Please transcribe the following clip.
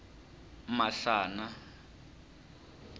masana